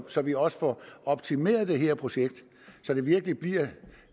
så vi også får optimeret det her projekt så det virkelig bliver